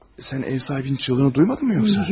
Sən ev sahibinin çığırdığını duymadınmı yoxsa?